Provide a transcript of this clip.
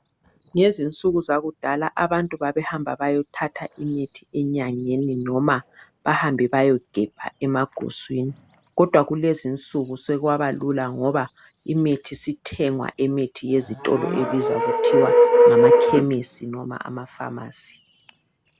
Ngezinsuku zakudala abantu babehamba bayothatha imithi enyangeni noma bahambe bayogebha emaguswini kodwa kulezinsuku sekwaba lula ngoba imithi isithengwa ezitolo ezibizwa kuthiwa ngama khemisi loba amafamasi.